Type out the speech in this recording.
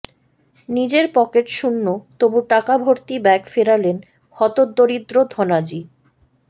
নিজের পকেট শূন্য তবু টাকা ভর্তি ব্যাগ ফেরালেন হতদরিদ্র ধনাজি